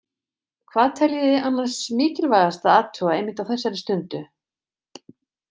Hvað teljið þið annars mikilvægast að athuga einmitt á þessari stundu?